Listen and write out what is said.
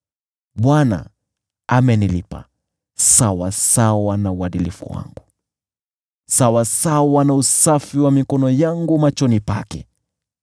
Bwana amenilipa sawasawa na uadilifu wangu; sawasawa na usafi wa mikono yangu machoni pake.